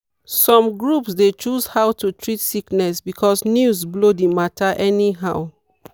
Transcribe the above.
some groups dey choose how to treat sickness because news blow the matter anyhow.